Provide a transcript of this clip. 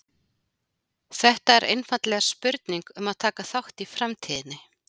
Þetta er einfaldlega spurning um að taka þátt í framtíðinni!